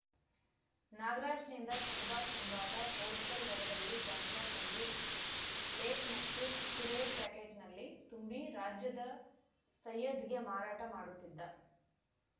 ನಾಗರಾಜ್‌ನಿಂದ ಷಹಬಾಜ್‌ ಎಂಬಾತ ಹೋಲ್‌ಸೇಲ್‌ ದರದಲ್ಲಿ ಗಾಂಜಾ ಕೊಂಡು ಲೇಸ್‌ ಮತ್ತು ಕುಕ್ಕೂರೆ ಪ್ಯಾಕೆಟ್‌ನಲ್ಲಿ ತುಂಬಿ ರಾಜ್ಯದ ಸಯ್ಯದ್‌ಗೆ ಮಾರಾಟ ಮಾಡುತ್ತಿದ್ದ